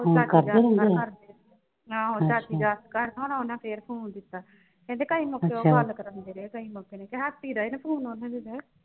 ਆਹੋ ਚਾਚੀ ਜੱਸ ਘਰ ਉਨ੍ਹਾਂ ਫਿਰ phone ਕੀਤਾ ਕਹਿੰਦੇ ਕਈ ਮੌਕੇ ਉਹ ਗੱਲ ਕਰਾਉਂਦੇ ਰਹੇ ਨੇ। ਕਈ ਮੌਕੇ ਤੇ ਹੱਥ ਚ ਈ ਰਹਿ ਨੇ phone ਉਨ੍ਹਾਂ ਦੀ ਦੇ।